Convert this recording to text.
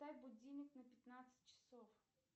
поставь будильник на пятнадцать часов